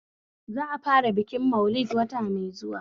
Za'a fara bikin Maulid wata mai zuwa